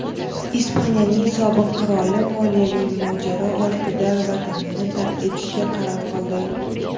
Ispaniyaning sobiq qiroli moliyaviy mojaro ortida vatanini tark etishga qaror qildi.